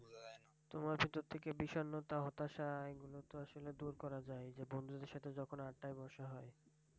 তোমার ভিতর থেকে বিষণ্ণতা হতাশা এগুলো তো আসলে দূর করা যায় বন্ধুদের সাথে যখন আড্ডায় বসা হয়,